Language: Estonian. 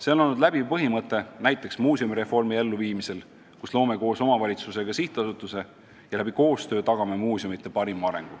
See on olnud läbiv põhimõte näiteks muuseumireformi elluviimisel, kus me loome koos omavalitsustega sihtasutused ja koostöö abil tagame muuseumide parima arengu.